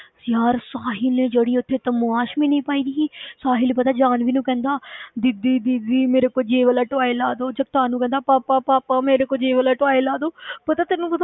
ਯਾਰ ਸਾਹਿਲ ਨੇ ਜਿਹੜੀ ਉੱਥੇ ਤਮਾਸ਼ਬੀਨੀ ਪਾਈ ਦੀ ਸੀ ਸਾਹਿਲ ਪਤਾ ਜਾਨਵੀ ਨੂੰ ਕਹਿੰਦਾ ਦੀਦੀ ਦੀਦੀ ਮੇਰੇ ਕੋ ਜੇ ਵਾਲਾ toy ਲਾ ਦਓ, ਜਗਤਾਰ ਨੂੰ ਕਹਿੰਦਾ ਪਾਪਾ ਪਾਪਾ ਮੇਰੇ ਕੋ ਜੇ ਵਾਲਾ toy ਲਾ ਦਓ ਪਤਾ ਤੈਨੂੰ